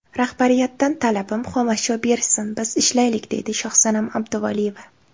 Rahbariyatdan talabim, xomashyo berishsin, biz ishlaylik”, deydi Shohsanam Abduvaliyeva.